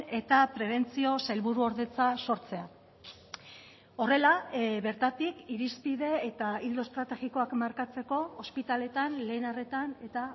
eta prebentzio sailburuordetza sortzea horrela bertatik irizpide eta ildo estrategikoak markatzeko ospitaleetan lehen arretan eta